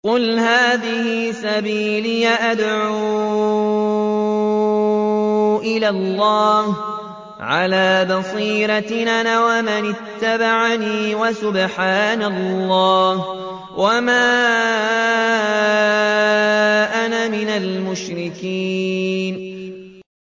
قُلْ هَٰذِهِ سَبِيلِي أَدْعُو إِلَى اللَّهِ ۚ عَلَىٰ بَصِيرَةٍ أَنَا وَمَنِ اتَّبَعَنِي ۖ وَسُبْحَانَ اللَّهِ وَمَا أَنَا مِنَ الْمُشْرِكِينَ